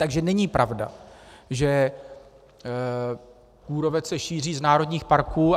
Takže není pravda, že kůrovec se šíří z národních parků.